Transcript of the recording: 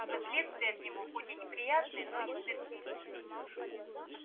и последствия от него хоть и неприятные но не смертельные